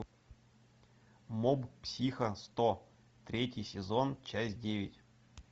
моб психо сто третий сезон часть девять